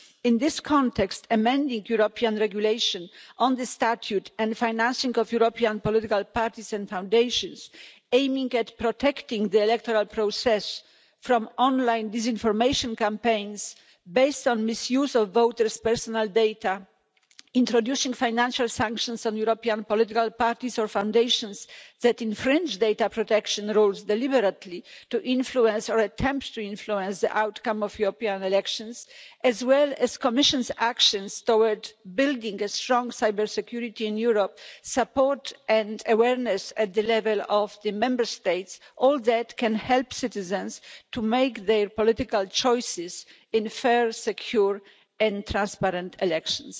In this context, amending European regulations on the statute and financing of European political parties and foundations, aiming at protecting the electoral process from online disinformation campaigns based on misuse of voters' personal data, introducing financial sanctions on European political parties or foundations that infringe data protection rules deliberately to influence or attempt to influence the outcome of European elections, as well as the Commission's actions to build strong cybersecurity in Europe, support and awareness at the level of the Member States, all that can help citizens to make their political choices in fair, secure and transparent elections.